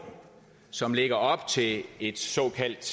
som ligger op til et såkaldt